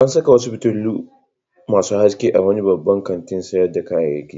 An saka wasu fitilu masu haske a wani babban kantin sayar da kayayyaki.